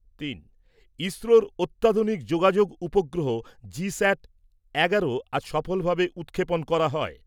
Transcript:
তিন। ইসরোর অত্যাধুনিক যোগাযোগ উপগ্রহ জিস্যাট এগারো আজ সফলভাবে উৎক্ষেপণ করা হয়।